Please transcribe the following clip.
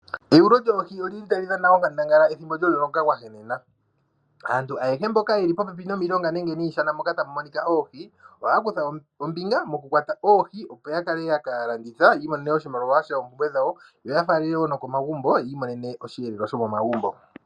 Eyulo lyoohi oli li tali dhana onkandangala pethimbo lyomuloka gwa henena. Aantu ayehe mboka ye li popepi nomilonga nenge niishana moka tamu monika oohi, ohaa kutha ombinga mokukwata oohi, opo ya kale ya ka landitha yi imonene mo oshimaliwa shokulanda oompumbwe dhawo, yo ya faalele wo nokomagumbo yi imonene osheelelwa.